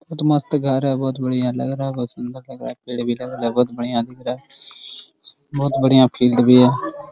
बहु मस्त घर है बहुत बढ़िया लग रहा है बहुत सुन्दर लग रहा है पेड़ भी लगल है बहुत बढ़िया दिख रहा है बहुत बढ़िया फील्ड भी है ।